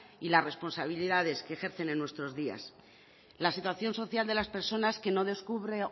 y las responsabilidades que ejercen en nuestros días la situación social de las personas que no descubre